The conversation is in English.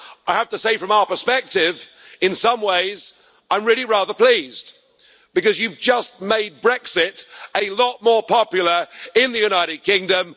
I have to say, from our perspective, that in some ways I'm really rather pleased, because you've just made Brexit a lot more popular in the United Kingdom.